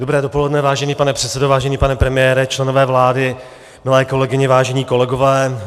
Dobré dopoledne, vážený pane předsedo, vážený pane premiére, členové vlády, milé kolegyně, vážení kolegové.